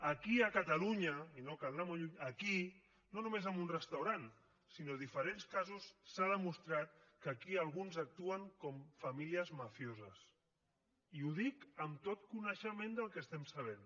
aquí a catalunya i no cal anar molt lluny aquí no només en un restaurant sinó diferents casos s’ha demostrat que aquí alguns actuen com famílies mafioses i ho dic amb tot coneixement del que estem sabent